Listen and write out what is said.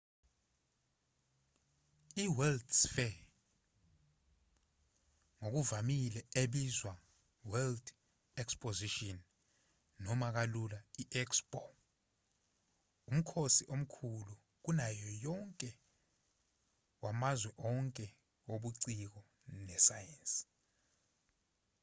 iworld's fair ngokuvamile ebizwa world exposition noma kalula i-expo umkhosi omkhulu kunayo yonke wamazwe onke wobuciko nesayensi